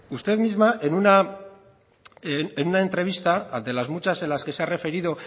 usted misma en una entrevista ante las muchas de las que se ha referido